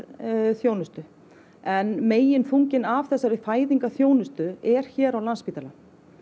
þjónustu en meginþunginn af þessari fæðingarþjónustu er hér á Landspítalanum